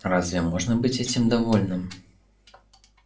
разве можно быть этим довольным